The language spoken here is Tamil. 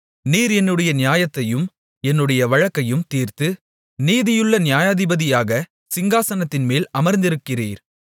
நீர் என்னுடைய நியாயத்தையும் என்னுடைய வழக்கையும் தீர்த்து நீதியுள்ள நியாயாதிபதியாக சிங்காசனத்தின்மேல் அமர்ந்திருக்கிறீர்